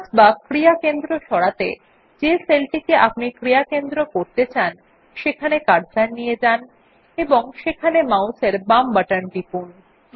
focus বা ক্রিয়া কেন্দ্র সরাতে যে সেলটিকে আপনি ক্রিয়া কেন্দ্র করতে চান সেখানে কার্সর নিয়ে যান এবং সেখানে মাউস এর বাম বাটন টিপুন